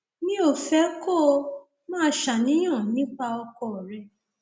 mi ò fẹ kó o máa ṣàníyàn nípa ọkọ rẹ